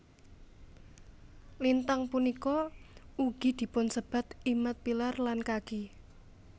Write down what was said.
Lintang punika ugi dipunsebat Imad pillar lan Kaki